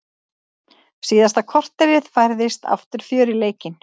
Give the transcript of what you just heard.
Síðasta korterið færðist aftur fjör í leikinn.